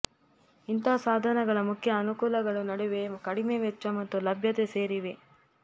ಇಂಥ ಸಾಧನಗಳ ಮುಖ್ಯ ಅನುಕೂಲಗಳು ನಡುವೆ ಕಡಿಮೆ ವೆಚ್ಚ ಮತ್ತು ಲಭ್ಯತೆ ಸೇರಿವೆ